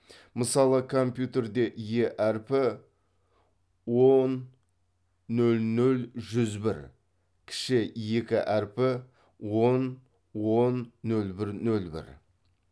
мысалы компьютерде е әрпі он нөл нөл жүз бір кіші екі әрпі он он нөл бір нөл бір